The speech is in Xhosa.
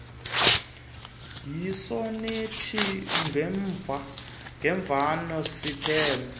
yisonethi ngemvano siphelo